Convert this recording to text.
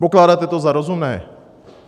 Pokládáte to za rozumné?